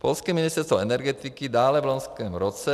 Polské Ministerstvo energetiky dále v loňském roce -